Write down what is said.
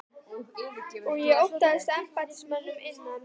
Og ég óttaðist að embættismönnum innan